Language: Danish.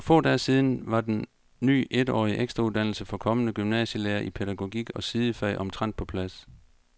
For få dage siden var den ny etårige ekstrauddannelse for kommende gymnasielærere i pædagogik og sidefag omtrent på plads.